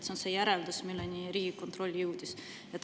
See on see järeldus, millele Riigikontroll jõudis.